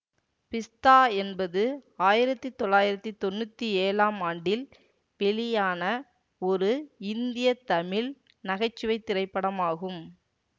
பிஸ்தா என்பது ஆயிரத்தி தொள்ளாயிரத்தி தொன்னூத்தி ஏழாம் ஆண்டில் வெளியான ஒரு இந்திய தமிழ் நகை சுவை திரைப்படமாகும்